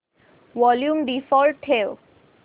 volume default ठेव